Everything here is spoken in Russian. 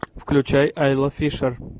включай айла фишер